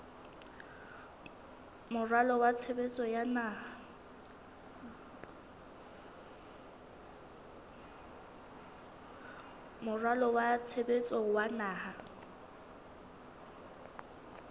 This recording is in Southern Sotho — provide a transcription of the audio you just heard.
moralo wa tshebetso wa naha